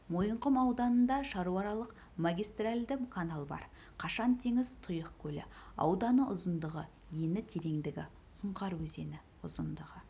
мойынқұм ауданында шаруааралық магистральді канал бар қашқантеңіз тұйық көлі ауданы ұзындығы ені тереңдігі сұңқар өзені ұзындығы